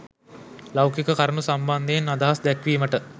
ලෞකික කරුණු සම්බන්ධයෙන් අදහස් දැක්වීමට